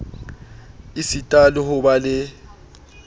esita le ho ba le